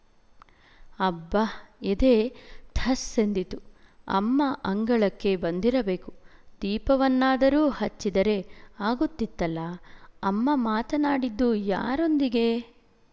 ಅಬ್ಬಾ ಎದೆ ಧಸ್ ಎಂದಿತು ಅಮ್ಮ ಅಂಗಳಕ್ಕೆ ಬಂದಿರಬೇಕು ದೀಪವನ್ನಾದರೂ ಹಚ್ಚಿದರೆ ಆಗುತ್ತಿತ್ತಲ್ಲ ಅಮ್ಮ ಮಾತನಾಡಿದ್ದು ಯಾರೊಂದಿಗೆ